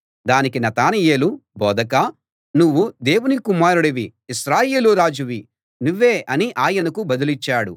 దానికి నతనయేలు బోధకా నువ్వు దేవుని కుమారుడివి ఇశ్రాయేలు రాజువి నువ్వే అని ఆయనకు బదులిచ్చాడు